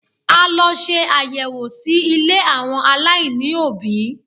A lọ ṣe àyẹ̀wò sí ilé àwọn aláìní òbí.